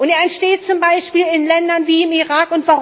Er entsteht zum Beispiel in Ländern wie dem Irak.